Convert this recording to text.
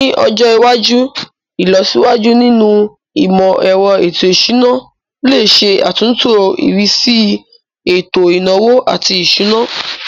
Ní ọjọ iwájú, ìlọsíwájú nínú imọ-ẹrọ ètò ìṣúná lè ṣe àtúntò ìrísí ètò ìnáwó àti ìṣúná.